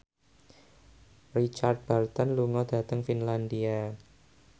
Richard Burton lunga dhateng Finlandia